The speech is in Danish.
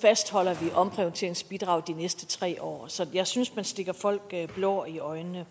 fastholder vi omprioriteringsbidraget de næste tre år så jeg synes man stikker folk blår i øjnene